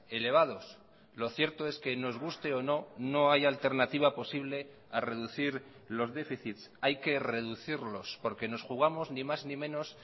elevados lo cierto es que nos guste o no no hay alternativa posible a reducir los déficits hay que reducirlos porque nos jugamos ni más ni menos